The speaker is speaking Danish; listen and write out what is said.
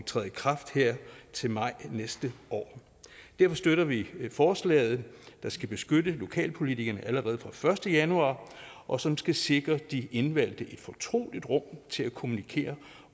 træder i kraft her til maj næste år derfor støtter vi forslaget der skal beskytte lokalpolitikerne allerede fra den første januar og som skal sikre de indvalgte et fortroligt rum til at kommunikere